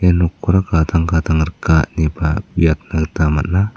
nokkora gadang gadang rika neba uiatna gita man·a.